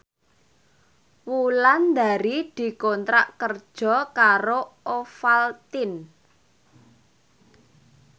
Wulandari dikontrak kerja karo Ovaltine